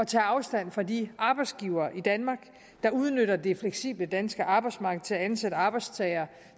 tage afstand fra de arbejdsgivere i danmark der udnytter det fleksible danske arbejdsmarked til at ansætte arbejdstagere